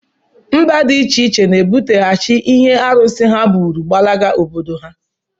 Mba dị iche iche na-ebuteghachi ihu arụsị ha bụrụ gbalaga obodo ha